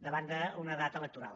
davant d’una data electoral